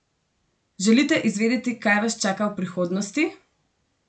Želite izvedeti kaj vas čaka v prihodnosti?